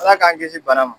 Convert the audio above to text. Ala k'an kisi bana ma